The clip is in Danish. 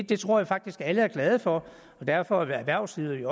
det tror jeg faktisk alle er glade for derfor er erhvervslederne